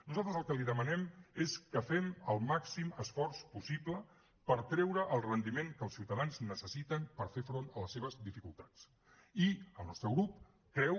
nosaltres el que li demanem és que fem el màxim esforç possible per treure el rendiment que els ciutadans necessiten per fer front a les seves dificultats i el nostre grup creu